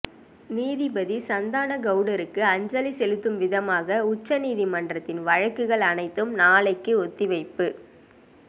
நீதிபதி சந்தான கவுடருக்கு அஞ்சலி செலுத்தும் விதமாக உச்ச நீதிமன்றத்தின் வழக்குகள் அனைத்தும் நாளைக்கு ஒத்திவைப்பு